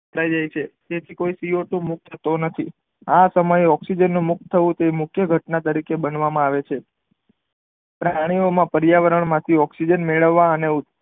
ખાય જાય છે તે સીઓટુ મુકત તેમાંથી આ સમયે ઓકઝીજન મુકત થવું તે મુખ્ય ઘટના તરીકે બનાવામાં આવે છે પ્રાણીઓ માં પરિયાવરણ માંથી ઓકઝીજન મેળવા અને